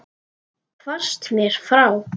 Hvarfst mér frá.